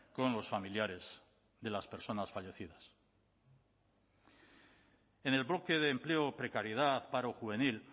con los familiares de las personas fallecidas en el bloque de empleo precariedad paro juvenil